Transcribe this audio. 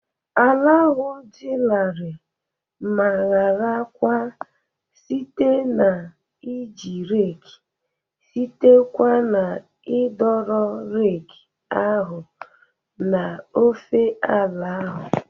Ala ahụ dị larịị ma hara kwa site na iji reeki site kwa na idoro reeki ahụ n'ofe ala ahụ.